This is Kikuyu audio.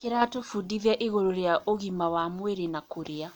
Kĩratũbundithia igũrũ rĩa ũgima wa mwĩrĩ na kũrĩa.